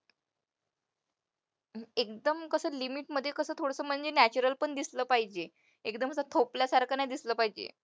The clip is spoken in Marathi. एकदम कसं limit मध्ये कसं थोडंसं म्हणजे natural पण दिसलं पाहिजे, एकदम कसं थोपल्यासारखं नाही दिसलं पाहिजे.